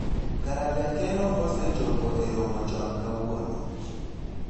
kare jakeno osechopo e romo chon kawuono